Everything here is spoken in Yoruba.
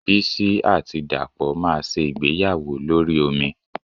Bísí àti Dàpọ̀ máa ṣe ìgbéyàwó lórí omi